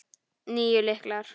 Níu lyklar.